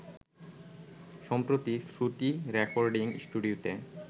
সম্প্রতি শ্রুতি রেকর্ডিং স্টুডিওতে